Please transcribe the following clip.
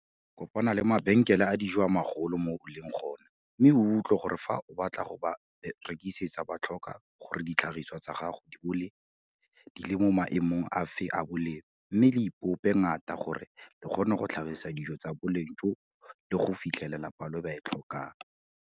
Kopana le mabenkele a dijo a magolo a mo o leng gone mme o utlwe gore fa o batla go ba rekisetsa ba tlhoka gore ditlhagisiwa tsa gago di bo di le mo maemong afe a boleng mme lo ipope ngatana gore le kgone go tlhagisa dijo tsa boleng joo le go fitlhelela palo e ba e tlhokang.